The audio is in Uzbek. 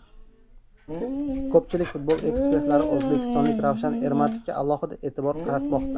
Ko‘pchilik futbol ekspertlari o‘zbekistonlik Ravshan Ermatovga alohida e’tibor qaratmoqda.